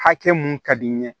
Hakɛ mun ka di n ye